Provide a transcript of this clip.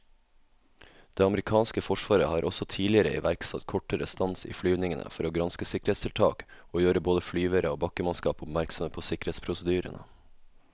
Det amerikanske forsvaret har også tidligere iverksatt kortere stans i flyvningene for å granske sikkerhetstiltak og gjøre både flyvere og bakkemannskap oppmerksomme på sikkerhetsprosedyrene.